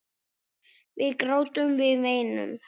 Við grátum, við veinum.